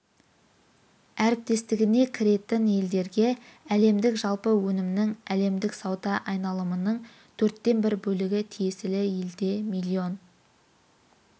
әріптестігіне кіретін елдерге әлемдік жалпы өнімнің әлемдік сауда айналымының төрттен бір бөлігі тиесілі елде миллион